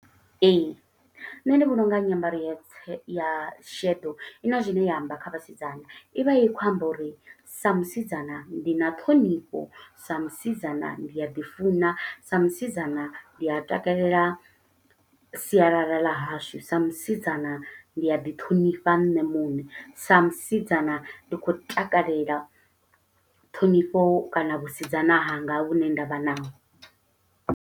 Ee, nṋe ndi vhona unga nyambaro ya tse, ya sheḓo, i na zwine ya amba kha vhasidzana. I vha i khou amba uri sa musidzana ndi na ṱhonifho, sa musidzana ndi a ḓi funa, sa musidzana ndi a takalela sialala ḽa hashu, sa musidzana ndi a ḓi ṱhonifha nṋe muṋe. Sa musidzana ndi khou takalela ṱhonifho kana vhusidzana hanga vhune nda vha naho.